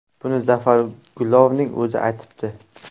Buni Zafar Gulovning o‘zi aytibdi.